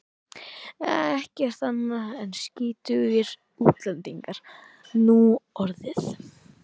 Ekkert annað en skítugir útlendingar núorðið.